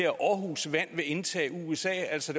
at aarhus vand vil indtage usa altså